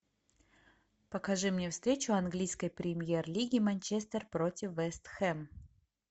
покажи мне встречу английской премьер лиги манчестер против вест хэм